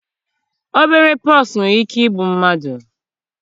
obere pox nwere ike igbu mmadụ.